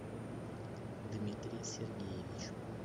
дмитрий сергеевич